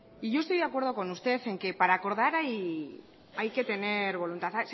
y yo estoy de acuerdo con usted en que para acordar hay que tener voluntad